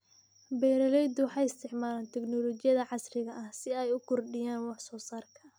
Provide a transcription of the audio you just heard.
Beeraleydu waxay isticmaalaan tignoolajiyada casriga ah si ay u kordhiyaan wax soo saarka.